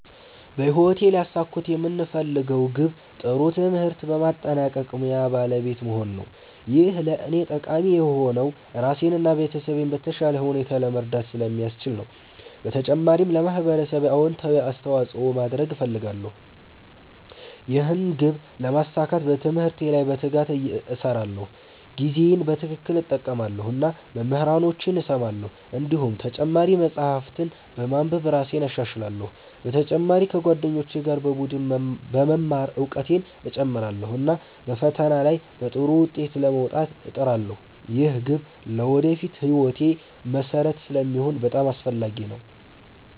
በህይወቴ ሊያሳኩት የምፈልገው ግብ ጥሩ ትምህርት በማጠናቀቅ ሙያ ባለቤት መሆን ነው። ይህ ለእኔ ጠቃሚ የሆነው ራሴን እና ቤተሰቤን በተሻለ ሁኔታ ለመርዳት ስለሚያስችለኝ ነው። በተጨማሪም ለማህበረሰቤ አዎንታዊ አስተዋፅኦ ማድረግ እፈልጋለሁ። ይህን ግብ ለማሳካት በትምህርቴ ላይ በትጋት እሰራለሁ፣ ጊዜዬን በትክክል እጠቀማለሁ እና መምህራኖቼን እሰማለሁ። እንዲሁም ተጨማሪ መጻሕፍት በማንበብ እራሴን እሻሻላለሁ። በተጨማሪ ከጓደኞቼ ጋር በቡድን በመማር እውቀቴን እጨምራለሁ፣ እና በፈተና ላይ በጥሩ ውጤት ለመውጣት እጥራለሁ። ይህ ግብ ለወደፊት ሕይወቴ መሠረት ስለሚሆን በጣም አስፈላጊ ነው።